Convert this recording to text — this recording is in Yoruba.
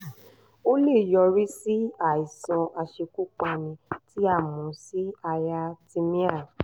ó lè yọrí sí àìsàn aṣekúpani tí a mọ̀ sí arrhythmia